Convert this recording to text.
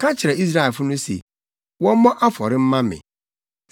“Ka kyerɛ Israelfo no se, wɔmmɔ afɔre mma me.